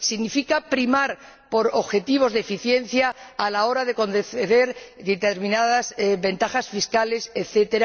significa primar por objetivos de eficiencia a la hora de conceder determinadas ventajas fiscales, etc.